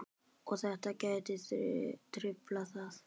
Og þetta gæti truflað það?